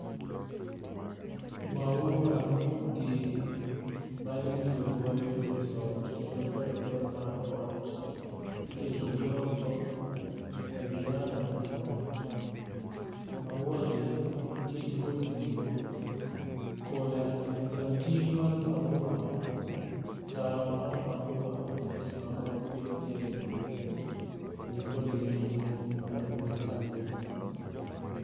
Mauagi magi mitiyogo e loso ot kendo medo ber mar ot iketogi oko e veranda mar ot. Mauagi gin kod nengo koda rating' mar maua tawo mar maua mokete maua mopithgie ni be nikod nengo maduong' kabisa.